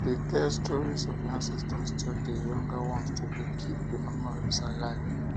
de tell stories of your ancestors to the younger ones to de keep the memories alive